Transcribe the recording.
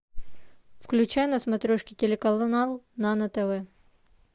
включай на смотрешке телеканал нано тв